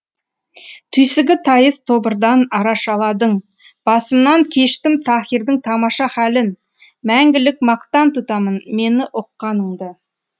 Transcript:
түйсігі тайыз тобырдан арашаладың басымнан кештім таһирдың тамаша халін мәңгілік мақтан тұтамын мені ұққаныңды